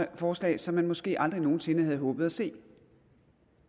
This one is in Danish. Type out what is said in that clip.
der forslag som man måske aldrig nogen sinde havde håbet at se